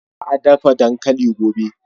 Za a dafa dankali gobe.